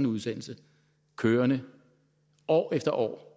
en udsendelse kørende år efter år